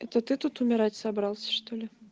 это ты тут умирать собрался что ли